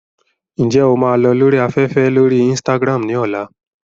Ǹjẹ́ o máa lọ lórí afẹ́fẹ́ lórí Instagram ní ọ̀la?